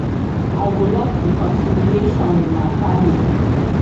i go like reconciliation wit my family